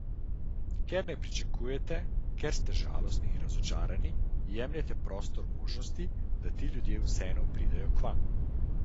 Ker pričakujete, ker ste žalostni in razočarani, jemljete prostor možnosti, da ti ljudje vseeno pridejo k vam.